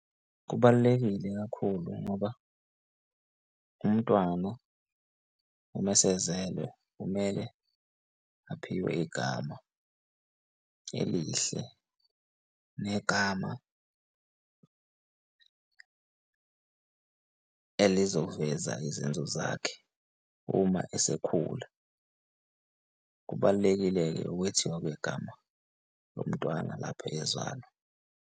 Kubalulekile kakhulu ngoba umntwana uma esezelwe kumele aphiwe igama elihle negama elizoveza izenzo zakhe uma esekhula. Kubalulekile-ke ukwethiwa kwegama lomntwana lapho ezalwa.